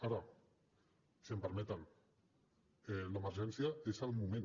ara si m’ho permeten l’emergència és al moment